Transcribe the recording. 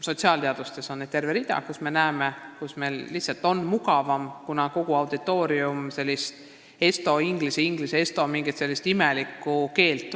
Sotsiaalteadustes on terve rida valdkondi, kus me näeme, et nii on lihtsalt mugavam, kuna kogu auditoorium valdab sellist imelikku esto-inglise/inglise-esto keelt.